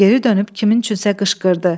Geri dönüb kimin üçünsə qışqırdı.